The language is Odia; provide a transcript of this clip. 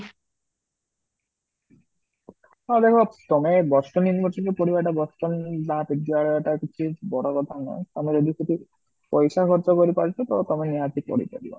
ମାନେ ହଁ ତମେ Boston University ଋ ପଢିବା ଟା Boston ମହାବିଦ୍ୟାଳୟ ଟା କିଛି ବଡ଼ କଥା ନୁହ ତମେ ଏମିତି ଭି ପଇସା ଖର୍ଚ୍ଚ କରିକି ତମେ ନିହାତି ପଢିପାରିବ